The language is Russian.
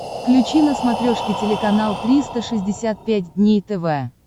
включи на смотрешке телеканал триста шестьдесят пять дней тв